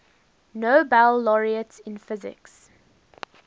nobel laureates in physics